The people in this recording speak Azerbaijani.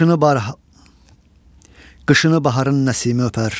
Qışını baharın Nəsimi öpər.